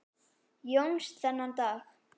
Jóns þennan dag.